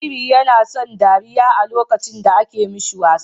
Jariri YAna son dariya lokacin da ake mishi wasa